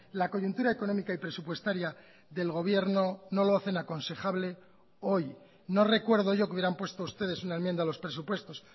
la coyuntura económica y presupuestaria del gobierno no lo hacen aconsejable hoy no recuerdo yo que hubieran puesto ustedes una enmienda a los presupuestos